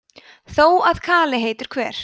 þó að kali heitur hver